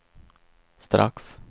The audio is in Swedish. strax